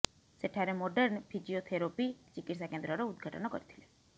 ସେଠାରେ modern physiotherapy ଚିକିତ୍ସା କେନ୍ଦ୍ରର ଉଦଘାଟନ କରିଥିଲେ